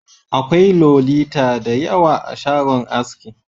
Akwai Lolita da yawa a shagon aski.